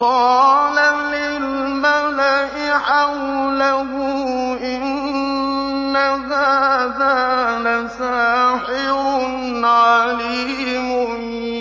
قَالَ لِلْمَلَإِ حَوْلَهُ إِنَّ هَٰذَا لَسَاحِرٌ عَلِيمٌ